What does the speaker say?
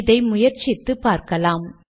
இதை முயற்சித்து பார்க்கலாம்